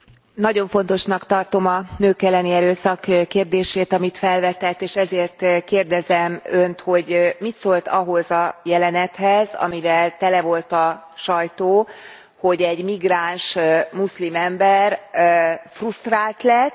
Nagyon fontosnak tartom a nők elleni erőszak kérdését, amit felvetett, és ezért kérdezem önt, hogy mit szólt ahhoz a jelenethez, amivel tele volt a sajtó, amikor egy migráns muszlim ember frusztrált lett.